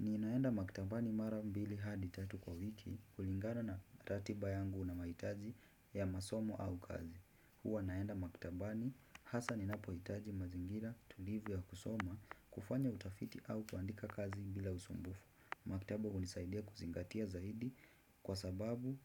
Niinaenda maktabani mara mbili hadi tatu kwa wiki kulingana na ratiba yangu na mahitaji ya masomo au kazi. Huwa naenda maktabani hasa ninapohitaji mazingira tulivu ya kusoma kufanya utafiti au kuandika kazi bila usumbufu. Maktaba hunisaidia kuzingatia zaidi kwa sababu